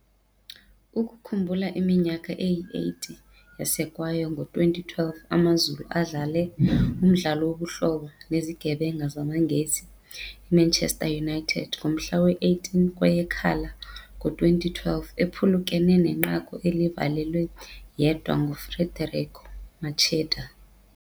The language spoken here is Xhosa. Ukukhumbula iminyaka eyi-80 yasekwayo ngo-2012 AmaZulu adlale umdlalo wobuhlobo nezigebenga zamaNgesi iManchester United ngomhla we-18 kweyeKhala ngo-2012 ephulukene nenqaku elivalelwe yedwa nguFederico Macheda.